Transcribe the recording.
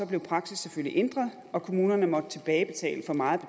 blev praksis selvfølgelig ændret og kommunerne måtte tilbagebetale for meget